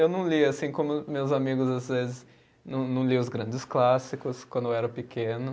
Eu não li, assim como meus amigos, às vezes, não não li os grandes clássicos, quando eu era pequeno.